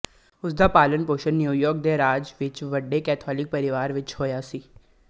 ਉਸਦਾ ਪਾਲਣ ਪੋਸ਼ਣ ਨਿਊਯਾਰਕ ਦੇ ਰਾਜ ਵਿੱਚ ਵੱਡੇ ਕੈਥੋਲਿਕ ਪਰਿਵਾਰ ਵਿੱਚ ਹੋਇਆ ਸੀ